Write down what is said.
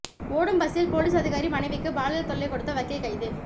ஓடும் பஸ்சில் போலீஸ் அதிகாரி மனைவிக்கு பாலியல் தொல்லை கொடுத்த வக்கீல் கைது